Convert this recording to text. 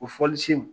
O fɔlisen